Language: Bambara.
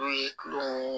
N'o ye kulo